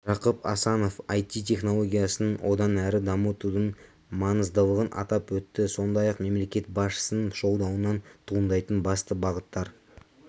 жақып асанов іт-технологиясын одан әрі дамытудың маңыздылығын атап өтті сондай-ақ мемлекет басшысының жолдауынан туындайтын басты бағыттар